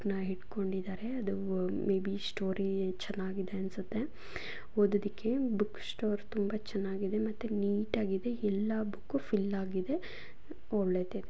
ಅದನ್ನ ಹಿಡ್ಕೊಂಡಿದಾರೆ maybe story ಚೆನಾಗಿದೆ ಅನ್ಸುತ್ತೆ ಒದೋದುಕ್ಕೆ ಬುಕ್ ಸ್ಟೋರ್ ತುಂಬಾ ಚೆನಾಗಿದೆ ಎಲ್ಲ ನೇತ್ತ್ ಆಗಿದೆ ಎಲ್ಲ ಬುಕ್ ಫೀಲ್ ಆಗಿದೆ .